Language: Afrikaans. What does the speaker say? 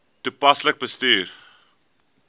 toepaslik bestuur